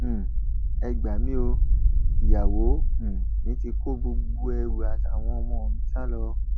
um ẹ gbà mí o ìyàwó um mi ti kó gbogbo ẹrù àtàwọn ọmọ mi sá lọ